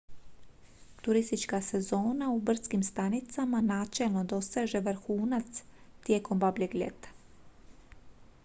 turistička sezona u brdskim stanicama načelno doseže vrhunac tijekom babljeg ljeta